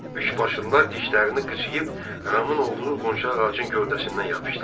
Üçbaşlılar dişlərini qıcayıb Ramın olduğu qonşu ağacın gövdəsindən yapışdılar.